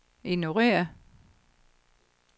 ignorér